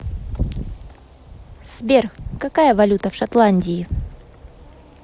сбер какая валюта в шотландии